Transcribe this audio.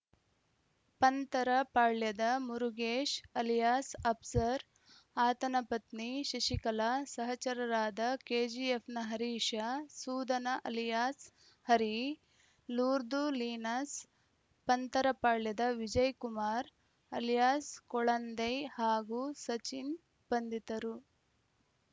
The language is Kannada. ಪಂತರಪಾಳ್ಯದ ಮುರುಗೇಶ್‌ ಅಲಿಯಾಸ್‌ ಅಪ್ಸರ್‌ ಆತನ ಪತ್ನಿ ಶಶಿಕಲಾ ಸಹಚರರಾದ ಕೆಜಿಎಫ್‌ನ ಹರೀಶ ಸೂದನ ಅಲಿಯಾಸ್‌ ಹರಿ ಲೂರ್ದು ಲೀನಸ್‌ ಪಂತರಪಾಳ್ಯದ ವಿಜಯ್‌ ಕುಮಾರ್‌ ಅಲಿಯಾಸ್‌ ಕೊಳಂದೈ ಹಾಗೂ ಸಚಿನ್‌ ಬಂಧಿತರು